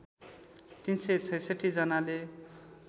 ३ सय ६६ जनाले